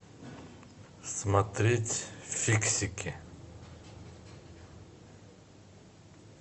смотреть фиксики